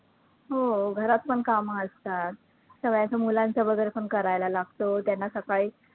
हो घरात पण कामं असतात, सगळ्यांचं मुलांचं वैगरे पण करायला लागतं त्यांना सकाळी